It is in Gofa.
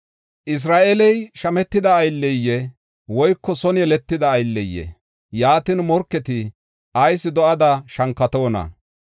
“Isra7eeley shametida aylleyee? woyko son yeletida aylleyee? Yaatin, morketi ayis do7oda shankatoona?